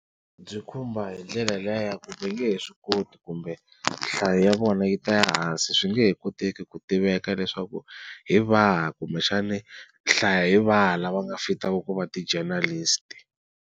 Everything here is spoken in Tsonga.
Byi khumba hi ndlela liya ya ku va nge he swi koti kumbe nhlayo ya vona yi ta ehansi swi nge he koteki ku tiveka leswaku hi vahi kumbexani nhlayo hi vahi lava nga fitaka ku va ti-journalist.